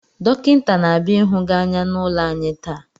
Dọkịnta na-abịa ịhụ gị anya n’ụlọ anyị taa